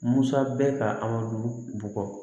Musa bɛ ka aw dun bugɔ